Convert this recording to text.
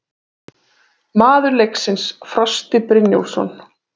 Maður leiksins: Frosti Brynjólfsson